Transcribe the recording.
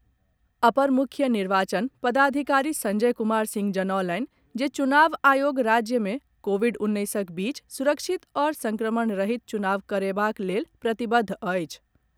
अपर मुख्य निर्वाचन पदाधिकारी संजय कुमार सिंह जनौलनि जे चुनाव आयोग राज्य मे कोविड उन्नैसक बीच सुरक्षित आओर संक्रमण रहित चुनाव करयबाक लेल प्रतिबद्ध अछि।